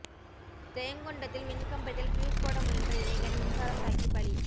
ஜெயங்கொண்டத்தில் மின்கம்பத்தில் பியூஸ் போட முயன்ற இளைஞர் மின்சாரம் தாக்கி பலி